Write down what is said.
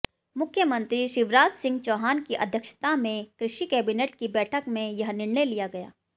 मुख्यमंत्री शिवराजसिंह चौहान की अध्यक्षता में कृषि कैबिनेट की बैठक में यह निर्णय लिया गया